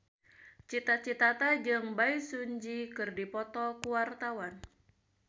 Cita Citata jeung Bae Su Ji keur dipoto ku wartawan